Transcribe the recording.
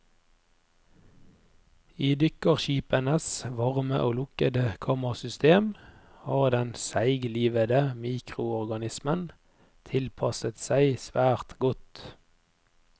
I dykkerskipenes varme og lukkede kammersystem har den seiglivede mikroorganismen tilpasset seg svært godt.